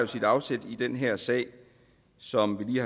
sit afsæt i den her sag som vi